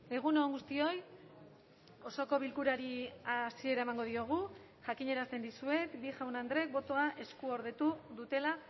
egun on guztioi osoko bilkurari hasiera emango diogu jakinarazten dizuet bi jaun andrek botoa eskuordetu dutela